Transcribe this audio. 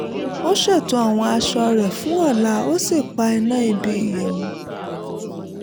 ó ṣètò àwọn aṣọ rẹ̀ fún ọ̀la ó sì pa iná ibi ìyẹ̀wù